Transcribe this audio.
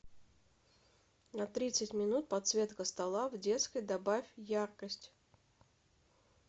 на тридцать минут подсветка стола в детской добавь яркость